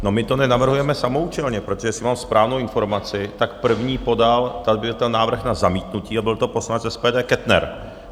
No my to nenavrhujeme samoúčelně, protože jestli mám správnou informaci, tak první podal - tady byl ten návrh na zamítnutí a byl to poslanec SPD Kettner.